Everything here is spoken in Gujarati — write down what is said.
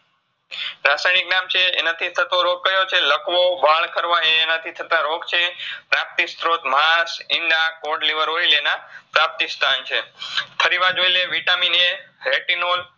રાસાયનીક નામ છે. એનાથી થતો રોગ કયો છે લખવો, વાળ ખરવા એ એનાથી થતાં રોગ છે. પ્રાપ્તિસ્ત્રોત માસ, ઈંડા, એના પ્રાપ્તિસ્થાન છે. ફરીવાર જોઇલએ VitaminAretinol